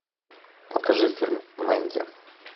покажи фильм мэнди